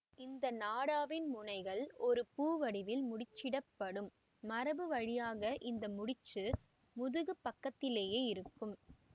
இந்த நாடாவின் முனைகள் ஒரு பூ வடிவில் முடிச்சிடப்படும் மரபு வழியாக இந்த முடிச்சு முதுகுப் பக்கத்திலேயே இருக்கும்